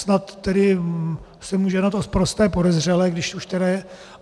Snad tedy se může na to sprosté podezřelé, když už tedy.